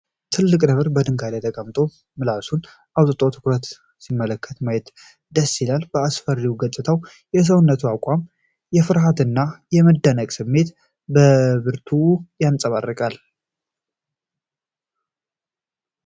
ትልቅ ነብር በድንጋይ ላይ ተቀምጦ፣ ምላሱን አውጥቶ በትኩረት ሲመለከት ማየት ደስ ይላል። አስፈሪው ገጽታውና የሰውነቱ አቋም የፍርሃትን እና የመደነቅን ስሜት በብርቱ ያንጸባርቃል።